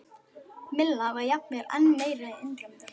Milla var jafnvel enn meira undrandi.